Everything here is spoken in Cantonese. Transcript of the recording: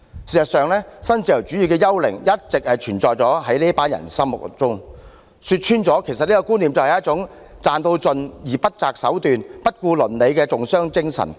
事實上，新自由主義的幽靈一直存在於這群人的心中，說穿了，這種觀念是一種為賺到盡而不擇手段、不顧倫理的重商精神。